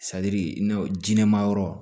i n'a fɔ jinɛma yɔrɔ